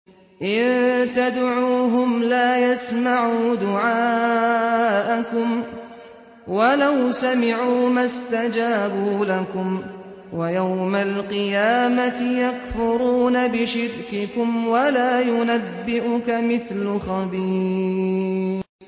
إِن تَدْعُوهُمْ لَا يَسْمَعُوا دُعَاءَكُمْ وَلَوْ سَمِعُوا مَا اسْتَجَابُوا لَكُمْ ۖ وَيَوْمَ الْقِيَامَةِ يَكْفُرُونَ بِشِرْكِكُمْ ۚ وَلَا يُنَبِّئُكَ مِثْلُ خَبِيرٍ